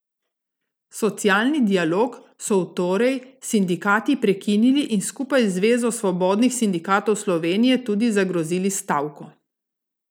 Socialni dialog so v torej sindikati prekinili in skupaj z Zvezo svobodnih sindikatov Slovenije tudi zagrozili s stavko.